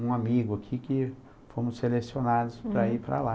um amigo aqui que fomos selecionados para ir para lá.